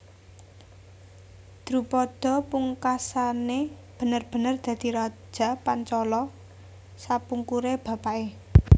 Drupada pungkasané bener bener dadi raja Pancala sapungkuré bapaké